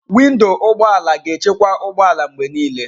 Windo ụgbọ ala ga-echekwa ụgbọ ala mgbe niile.